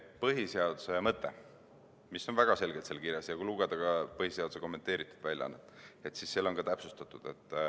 Põhiseaduse mõte on väga selgelt kirjas, ja kui lugeda põhiseaduse kommenteeritud väljaannet, siis seal on seda ka täpsustatud.